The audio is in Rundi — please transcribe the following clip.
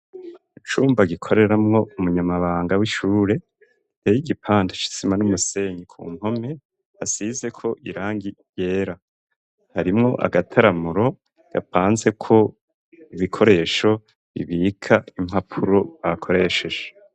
Icumba gikoreramwo umunyamabanga w'ishure, giteye igipande c'isima n'umusenyi, ku mpome, hasizeko irangi ryera. Harimwo agataramuro gapanzeko ibikoresho bibika impapuro bakoresheje.